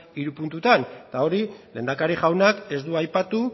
hiru puntutan eta hori lehendakari jaunak ez du aipatu